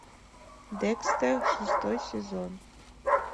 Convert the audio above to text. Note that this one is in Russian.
декстер шестой сезон